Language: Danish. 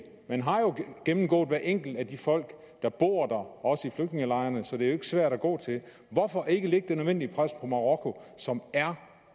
man har jo gennemgået hver enkelt af de folk der bor der også i flygtningelejrene så det er ikke svært at gå til hvorfor ikke lægge det nødvendige pres på marokko som er